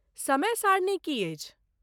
समय सारणी की अछि?